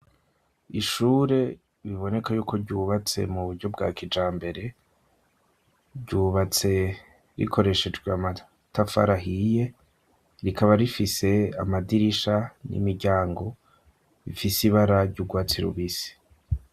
Ishure biboneka yuko ryubatse mu buryo bwa kijambere, ryubatse rikoreshejwe amatafari ahiye, rikaba rifise amadirisha n'imiryango bifise ibara ry'ugwatsi rubisi.